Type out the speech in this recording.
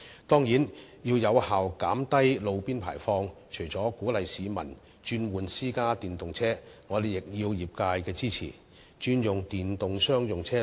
當然，要有效減低路邊排放，除了鼓勵市民轉換電動私家車外，我們亦需要得到業界支持轉用商用電動車。